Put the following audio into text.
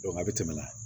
a bɛ tɛmɛ